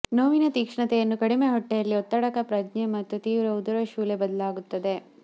ನೋವಿನ ತೀಕ್ಷ್ಣತೆಯನ್ನು ಕಡಿಮೆ ಹೊಟ್ಟೆಯಲ್ಲಿ ಒತ್ತಡಕ ಪ್ರಜ್ಞೆ ಮತ್ತು ತೀವ್ರ ಉದರಶೂಲೆ ಬದಲಾಗುತ್ತದೆ